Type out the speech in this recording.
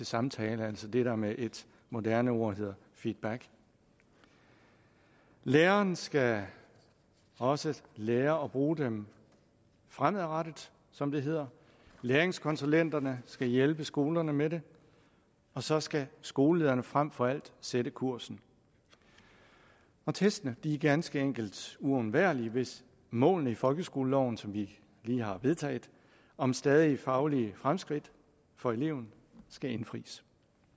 samtale altså det der med et moderne ord hedder feedback lærerne skal også lære at bruge dem fremadrettet som det hedder læringskonsulenterne skal hjælpe skolerne med det og så skal skolelederne frem for alt sætte kursen testene er ganske enkelt uundværlige hvis målene i folkeskoleloven som vi lige har vedtaget om stadige faglige fremskridt for eleverne skal indfries